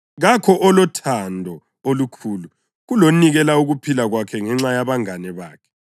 Kakho olothando olukhulu kulonikela ukuphila kwakhe ngenxa yabangane bakhe.